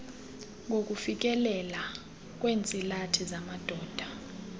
ngokufikeleleka kweentsilathi zamadoda